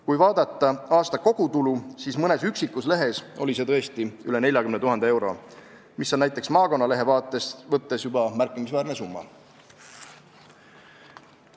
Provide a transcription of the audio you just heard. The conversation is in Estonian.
Kui vaadata aasta kogutulu, siis mõnes üksikus lehes oli see tõesti üle 40 000 euro, mis on ühes maakonnalehes juba märkimisväärne summa.